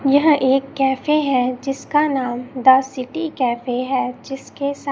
यह एक कैफे है जिसका नाम द सिटी कैफे है जिसके सा--